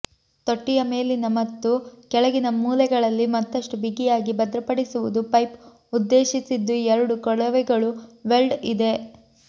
ತೊಟ್ಟಿಯ ಮೇಲಿನ ಮತ್ತು ಕೆಳಗಿನ ಮೂಲೆಗಳಲ್ಲಿ ಮತ್ತಷ್ಟು ಬಿಗಿಯಾಗಿ ಭದ್ರಪಡಿಸುವುದು ಪೈಪ್ ಉದ್ದೇಶಿಸಿದ್ದು ಎರಡು ಕೊಳವೆಗಳು ವೆಲ್ಡ್ ಇದೆ